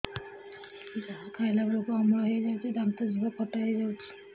ଯାହା ଖାଇଲା ବେଳକୁ ଅମ୍ଳ ହେଇଯାଉଛି ଦାନ୍ତ ଜିଭ ଖଟା ହେଇଯାଉଛି